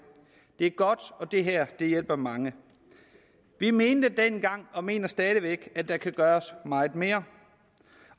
det er godt og det her hjælper mange vi mente dengang og mener stadig væk at der kan gøres meget mere